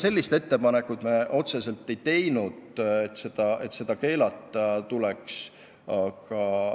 Me ei teinud otsest ettepanekut, et reklaam tuleks keelata.